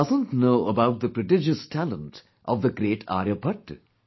Who doesn't know about the prodigious talent of the great Aryabhatta